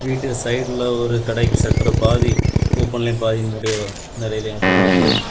வீட்டு சைடுல ஒரு கடைக்கு ஷட்டர் பாதி ஓபன்லயும் பாதி மூடிவு நெரயவம் இருக்கு.